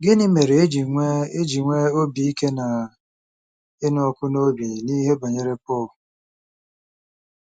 Gịnị mere e ji nwee e ji nwee obi ike na ịnụ ọkụ n’obi n’ihe banyere Pọl?